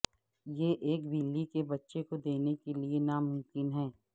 یہ ایک بلی کے بچے کو دینے کے لئے ناممکن ہے